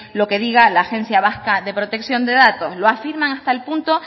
lo que diga la agencia vasca de protección de datos lo afirman hasta el punto